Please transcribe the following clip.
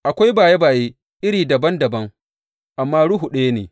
Akwai baye baye iri dabam dabam, amma Ruhu ɗaya ne.